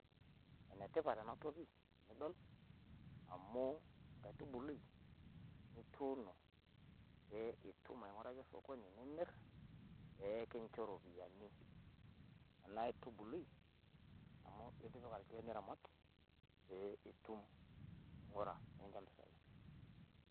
Enetipat ena toki nidol amu enkaitubului nituuno pee itum aing`uraki osokoni nimirr. Pee kincho iropiyiani ena aitubului amu itipika ilkiek niramat pee itum aing`ura nikincho mpisai.